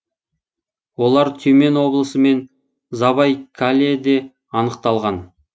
олар тюмень облысы мен забайкальеде анықталған